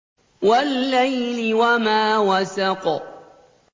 وَاللَّيْلِ وَمَا وَسَقَ